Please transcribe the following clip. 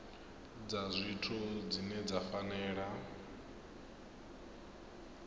dza zwithu dzine dza fanela